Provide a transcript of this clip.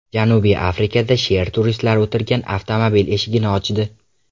Janubiy Afrikada sher turistlar o‘tirgan avtomobil eshigini ochdi .